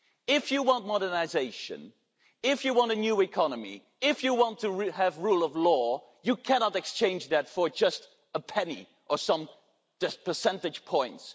If you want modernisation, if you want a new economy, if you want to have rule of law, you cannot exchange that for just a penny or some percentage points.